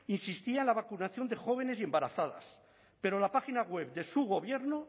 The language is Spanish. insistía en la vacunación de jóvenes y embarazadas pero la página web de su gobierno